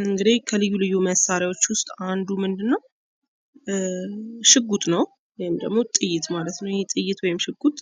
እንግዲህ ከልዩ ልዩ መሳሪያዎች ውስጥ አንዱ ምንድነው? ሽጉጥ ነው። ወይም ደግሞ ጥይት ማለት ነው። ይህ ጥይት ወይም ሽጉጥ